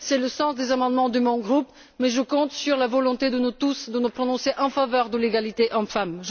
C'est le sens des amendements de mon groupe, mais je compte sur la volonté de nous tous pour nous prononcer en faveur de l'égalité entre hommes et femmes.